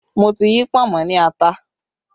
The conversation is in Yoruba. Mo ti yí pọ̀nmọ́ ní ata